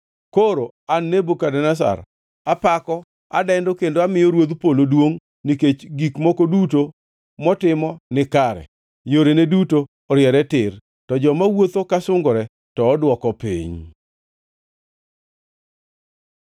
Koro an Nebukadneza, apako, adendo kendo amiyo Ruodh Polo duongʼ, nikech gik moko duto motimo nikare kendo yorene duto oriere tir. To joma wuotho ka sungore to odwoko piny.